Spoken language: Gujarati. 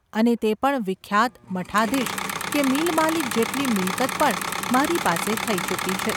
અને તે પણ વિખ્યાત મઠાધીશ કે મિલમાલિક જેટલી મિલકત પણ મારી પાસે થઈ ચૂકી છે.